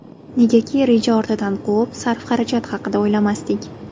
Negaki, reja ortidan quvib, sarf-xarajat haqida o‘ylamasdik.